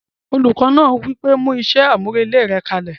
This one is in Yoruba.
Olùkọ́ náà wí pé "mú iṣẹ́ àmúrelé rẹ kalẹ̀!"